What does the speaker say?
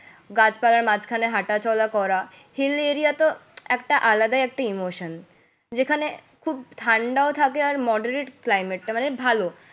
গাছপালার মাঝখানে হাঁটাচলা করা, hill area তো একটা আলাদাই একটা emotion যেখানে খুব ঠান্ডাও থাকে আর moderate climate টা। মানে ভালো